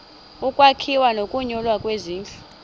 ukwakhiwa nokunyulwa kwezindlu